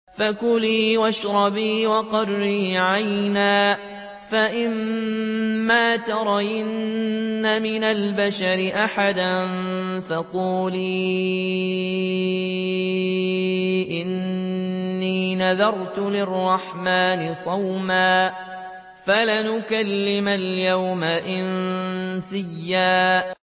فَكُلِي وَاشْرَبِي وَقَرِّي عَيْنًا ۖ فَإِمَّا تَرَيِنَّ مِنَ الْبَشَرِ أَحَدًا فَقُولِي إِنِّي نَذَرْتُ لِلرَّحْمَٰنِ صَوْمًا فَلَنْ أُكَلِّمَ الْيَوْمَ إِنسِيًّا